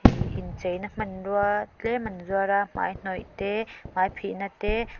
ih incheina hmanrua tlem an zuara hmai hnawih te hmai phihna te.